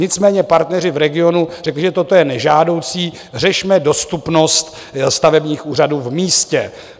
Nicméně partneři v regionu řekli, že toto je nežádoucí, řešme dostupnost stavebních úřadů v místě.